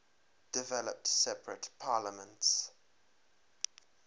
developed separate parliaments